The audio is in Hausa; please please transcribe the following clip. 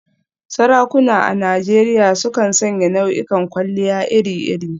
Sarakuna a Najeriya sukan sanya nau'ikan kwalliya iri-iri.